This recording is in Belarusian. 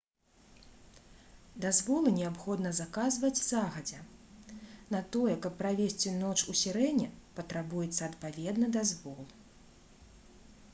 дазволы неабходна заказваць загадзя на тое каб правесці ноч у сірэне патрабуецца адпаведны дазвол